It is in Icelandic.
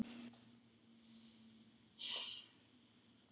Þá pening sá.